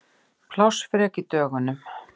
Plássfrek í dögunum.